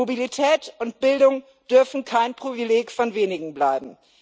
Mobilität und Bildung dürfen kein Privileg von wenigen bleiben.